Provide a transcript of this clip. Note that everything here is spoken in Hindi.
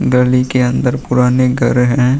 गली के अंदर पुराने घर हैं।